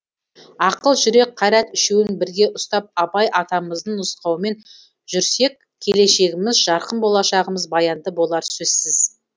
ақыл жүрек қайрат үшеуін бірге ұстап абай атамыздың нұсқауымен жүрсек келешегіміз жарқын болшағымыз баянды болары сөзсіз